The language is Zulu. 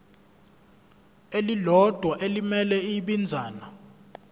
elilodwa elimele ibinzana